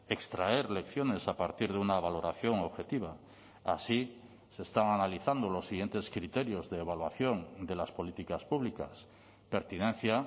extraer lecciones a partir de una valoración objetiva así se están analizando los siguientes criterios de evaluación de las políticas públicas pertinencia